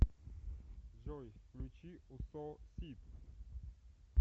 джой включи усо сид